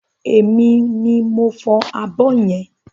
Emi ni mò ń fọ abọ́ yẹn.